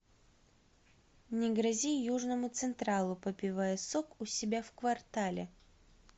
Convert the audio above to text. не грози южному централу попивая сок у себя в квартале